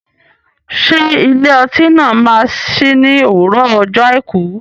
Ṣé ilé ọtí náà máa sí ní òwúrọ̀ ọjọ́ àìkú?